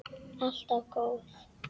Alltaf góð.